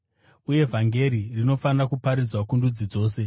Uye vhangeri rinofanira kuparidzwa kundudzi dzose.